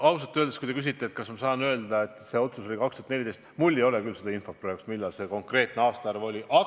Ausalt öeldes, kui te küsite, kas ma saan öelda, et see otsus tehti 2014, siis minul küll ei ole praegu selle konkreetse aastaarvu kohta infot võtta.